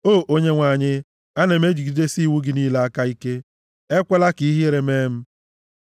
O Onyenwe anyị, ana m ejigidesi iwu gị niile aka ike; ekwela ka ihere mee m.